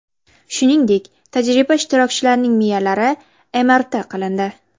Shuningdek, tajriba ishtirokchilarining miyalari MRT qilindi.